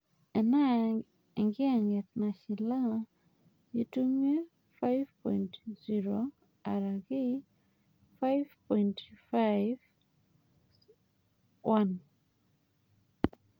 enaa enkiyang'et nashilaa intumia 5.0 araki 5.5: 1.